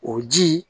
O ji